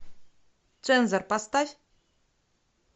цензор поставь